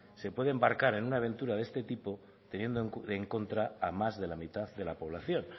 se puede embarcar en una aventura de este tipo teniendo en contra a más de la mitad de la población